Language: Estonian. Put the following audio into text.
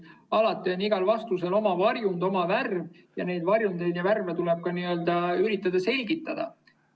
Alati on igal vastusel oma varjund, oma värv, ja neid varjundeid ja värve tuleb ka n‑ö üritada selgitada.